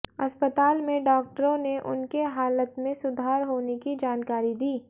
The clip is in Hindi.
अस्पताल में डॉक्टरों ने उनके हालत में सुधार होने की जानकारी दी